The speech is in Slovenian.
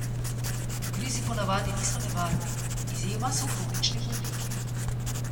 Ugrizi ponavadi niso nevarni, izjema so kronični bolniki.